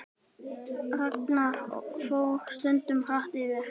Ragnar fór stundum hratt yfir.